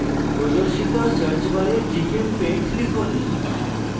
প্রদর্শিত search bar gchempaint লিখুন